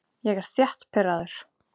Ég er þétt pirraður.